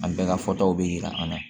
An bɛɛ ka fɔtaw bɛ yira an na